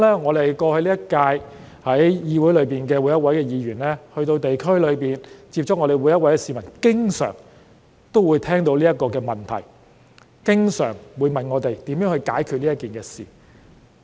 我相信今屆每位議員於過去一段時間在地區接觸市民時，他們也經常聽到這些問題，市民也經常問我們會如何解決這件事。